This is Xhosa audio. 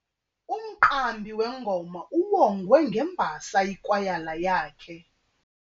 Umqambi wengoma uwongwe ngembasa yikwayala yakhe.